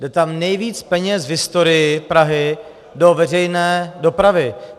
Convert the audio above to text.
Jde tam nejvíc peněz v historii Prahy do veřejné dopravy.